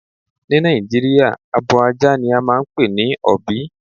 Ni Nàìjíríà, abò àjà ni à máà npè ní ọ̀bí.